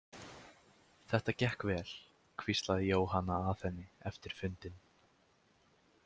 Þetta gekk vel, hvíslaði Jóhanna að henni eftir fundinn.